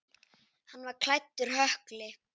Hann var klæddur hökli.